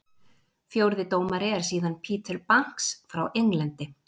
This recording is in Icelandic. Fjórði dómari er síðan Peter Banks frá Englandi.